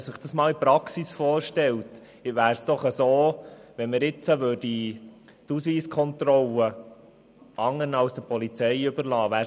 Man stelle sich vor, wie es wäre, wenn man die Ausweiskontrolle anderen als der Polizei überlassen würde.